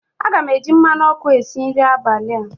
Aga m eji mmanụ ọkụ a si nri abalị a